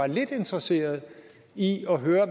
jeg kan så sige at jeg i